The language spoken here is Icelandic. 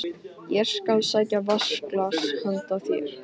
Ég skal sækja vatnsglas handa þér